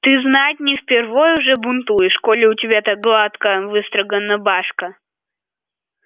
ты знать не впервой уже бунтуешь коли у тебя так гладко выстрогана башка